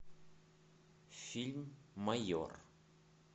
фильм майор